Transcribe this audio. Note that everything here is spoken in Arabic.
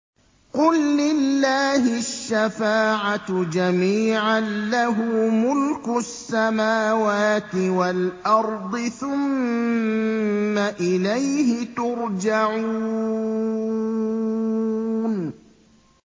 قُل لِّلَّهِ الشَّفَاعَةُ جَمِيعًا ۖ لَّهُ مُلْكُ السَّمَاوَاتِ وَالْأَرْضِ ۖ ثُمَّ إِلَيْهِ تُرْجَعُونَ